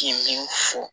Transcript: K'i min fɔ